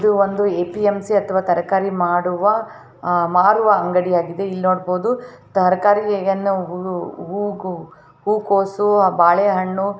ಇದು ಒಂದು ಎ.ಪಿ.ಎಮ್.ಸಿ. ಅಥವಾ ತರಕಾರಿ ಮಾಡುವ ಅಹ್ ಮಾರುವ ಅಂಗಡಿ ಆಗಿದೆ ಇಲ್ಲಿ ನೋಡಬಹುದು ತರಕಾರಿಯನ್ನು ಹೂ ಗ ಹೂ ಕೋಸು ಆ ಬಾಳೆಹಣ್ಣು--